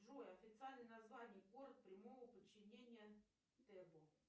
джой официальное название город прямого подчинения тебо